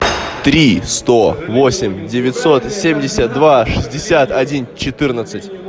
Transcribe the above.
три сто восемь девятьсот семьдесят два шестьдесят один четырнадцать